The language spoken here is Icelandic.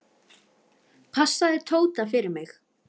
Passaðu Tóta fyrir mig.